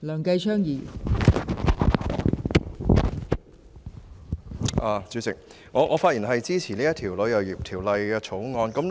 代理主席，我發言支持《旅遊業條例草案》。